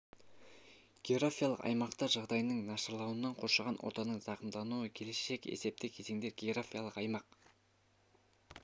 географиялық аймақтар жағдайының нашарлауынан қоршаған ортаның зақымдануы келешек есепті кезеңдер географиялық аймақ